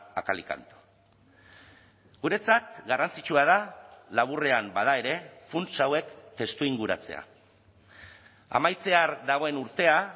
a cal y canto guretzat garrantzitsua da laburrean bada ere funts hauek testuinguratzea amaitzear dagoen urtea